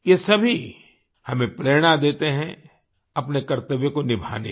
ये सभी हमें प्रेरणा देते हैं अपने कर्तव्यों को निभाने की